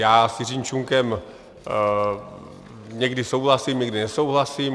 Já s Jiřím Čunkem někdy souhlasím, někdy nesouhlasím.